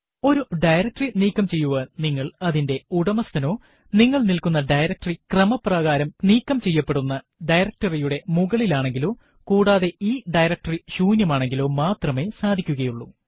ഒരു ഡയറക്ടറി നീക്കം ചെയ്യുവാൻ നിങ്ങൾ അതിന്റെ ഉടമസ്ഥനോ നിങ്ങൾ നില്ക്കുന്ന ഡയറക്ടറി ക്രമപ്രകാരം നീക്കം ചെയ്യേണ്ടുന്ന ഡയറക്ടറി യുടെ മുകളിലാനെങ്ങിലോ കൂടാതെ ഈ ഡയറക്ടറി ശൂന്യമാനെങ്കിലോ മാത്രമേ സാധിക്കുകയുള്ളൂ